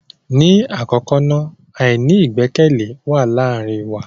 Ni akọkọ na, aini igbẹkẹle wa laarin wa.